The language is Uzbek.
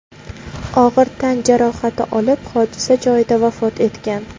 og‘ir tan jarohati olib, hodisa joyida vafot etgan.